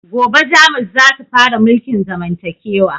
Gobe jamus zasu fara mulkin zamantakewa